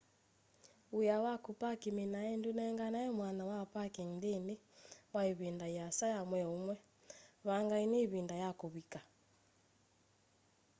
wia wa kupark minae ndunenganae mwanya wa parking nthini wa ivinda yiasa ya mwei umwe mbeangeni ivinda ya kuvika